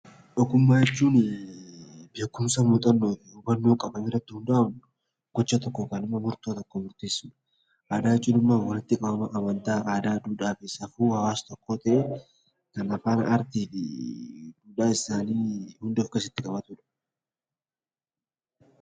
Ogummaa jechuuni beekumsa, muuxannoo fi hubannoo qaban irratti hundaa'uun gocha tokko yookaan immo murtoo tokko murteessuuf dha. Aadaa jechuun immoo walitti qabama amantaa, aadaa, duudhaa fi safuu hawaasa tokkoo ta'ee kan afaan, aartii fi duudhaa hunda of keessatti qabatu dha.